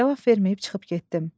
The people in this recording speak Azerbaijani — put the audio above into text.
Cavab verməyib çıxıb getdim.